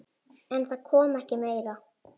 En það kom ekki meira.